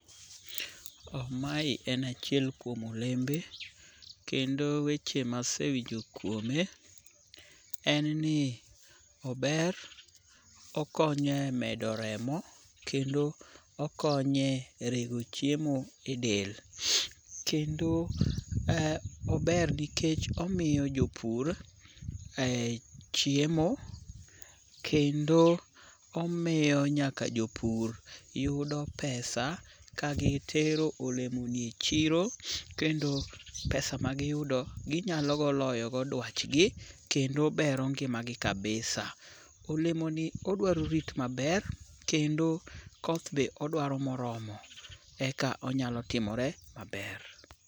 Mae en achiel kuom olembe, kendo weche masewinjo kuome en ni ober okonyo e medo remo kendo okonye rego chiemo e del kendo ober nikech omiyo jopur chiemo kendo omiyo nyaka jopur yudo pesa kagitero olemo gi e chiro kendo pesa magiyudo ginyalogo loyogo dwachgi kendo bero ngimagi kabisa. Olemoni odwaro rit maber kendo koth be odwaro moromo eka onyalo timore maber.